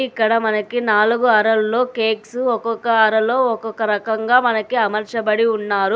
ఇక్కడ మనకి నాలుగు అరల్లో కేక్సు ఒక్కొక్క అరలో ఒక్కొక్క రకంగా మనకి అమర్చబడి ఉన్నారు.